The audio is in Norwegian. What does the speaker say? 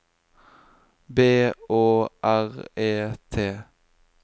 B Å R E T